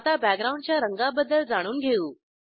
आता बॅकग्राऊंडच्या रंगाबद्दल जाणून घेऊ